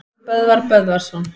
Böðvar Böðvarsson